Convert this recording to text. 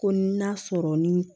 Ko n'a sɔrɔ ni